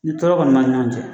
Ni tɔɔrɔ kɔni b'an ni ɲɔgɔn cɛ